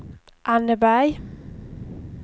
Anneberg